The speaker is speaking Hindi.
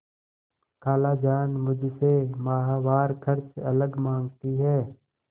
खालाजान मुझसे माहवार खर्च अलग माँगती हैं